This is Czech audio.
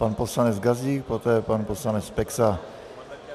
Pan poslanec Gazdík, poté pan poslanec Peksa.